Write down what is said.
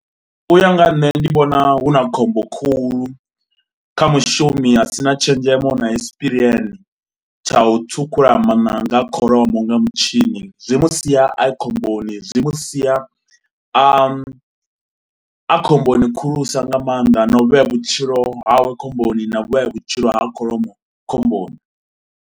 U ya nga ha nṋe ndi vhona hu na khombo khulu kha mushumi asina tshenzhemo na espiriene tsha u thukhula mananga a kholomo nga mutshini. Zwi musia a khomboni, zwi musia a, a khomboni khulusa nga maanḓa na u vhea vhutshilo hawe khomboni na vhea vhutshilo ha kholomo khomboni.